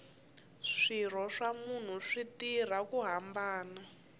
swirho swa munhu swi tirha ku hambana